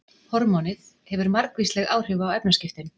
Hormónið hefur margvísleg áhrif á efnaskiptin.